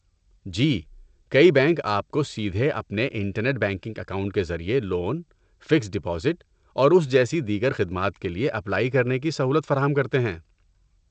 جی، کئی بینک آپ کو سیدھے اپنے انٹرنیٹ بینکنگ اکاؤنٹ کے ذریعے لون، فکسٹ ڈپوزٹ اور اس جیسی دیگر خدمات کے لیے اپلائی کرنے کی سہولت فراہم کرتے ہیں۔